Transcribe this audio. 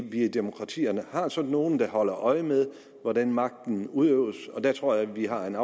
i demokratierne har sådan nogle der holder øje med hvordan magten udøves og der tror jeg vi har en